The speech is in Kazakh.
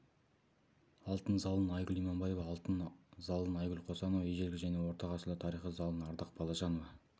алтын залын айгүл иманбаева алтын залын айгүл қосанова ежелгі және орта ғасырлар тарихи залын ардақ балажанова